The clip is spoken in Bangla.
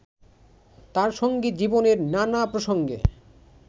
তাঁর সংগীত জীবনের নানা প্রসঙ্গে